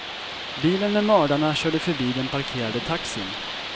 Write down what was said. Bilen med mördarna körde förbi den parkerade taxin.